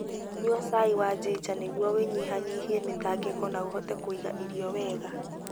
Nyua cai wa ginger nĩguo ũnyihanyihie mĩtangĩko na ũhote kũiga irio wega.